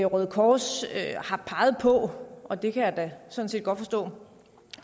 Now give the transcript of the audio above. røde kors har peget på og det kan jeg da sådan set godt forstå